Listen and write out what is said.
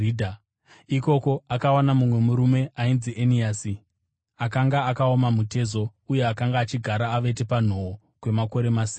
Ikoko, akawana mumwe murume ainzi Eniasi akanga akaoma mutezo uye akanga achigara avete panhoo kwamakore masere.